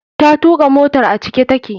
Ta tuka motar a cike take.